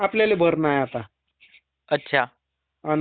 आणि त्याच्यानंतर मग पाच वर्ष नाय म्हणी.